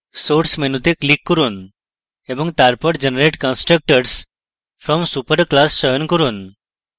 source মেনুতে click করুন এবং তারপর generate constructors from superclass চয়ন করুন